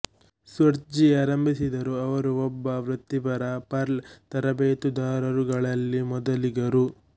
Schwartz ಆರಂಭಿಸಿದರು ಅವರು ಒಬ್ಬ ವೃತ್ತಿಪರ ಪರ್ಲ್ ತರಬೇತುದಾರರುಗಳಲ್ಲಿ ಮೊದಲಿಗರು